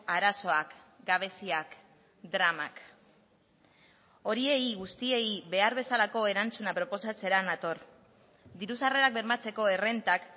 arazoak gabeziak dramak horiei guztiei behar bezalako erantzuna proposatzera nator diru sarrerak bermatzeko errentak